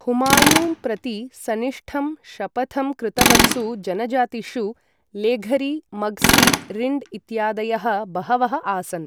हुमायून् प्रति सनिष्ठं शपथं कृतवत्सु जनजातिषु लेघरी, मग्सी, रिण्ड् इत्यादयः बहवः आसन् ।